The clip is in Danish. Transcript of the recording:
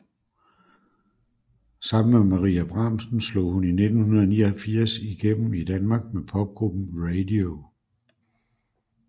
Sammen med Maria Bramsen slog hun i 1989 igennem i Danmark med popgruppen Ray Dee Ohh